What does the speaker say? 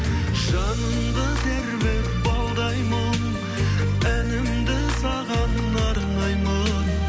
жанымды тербеп балдай мұң әнімді саған арнаймын